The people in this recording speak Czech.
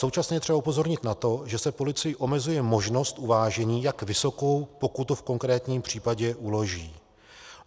Současně je třeba upozornit na to, že se policii omezuje možnost uvážení, jak vysokou pokutu v konkrétním případě uloží.